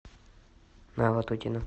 на ватутина